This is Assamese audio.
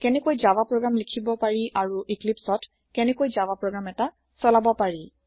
কেনেকৈ জাভা প্ৰোগ্ৰাম লিখিব পাৰি আৰু আৰু ইক্লিপ্চত কেনেকৈ জাভা প্ৰোগ্ৰাম এটা চলাব পাৰি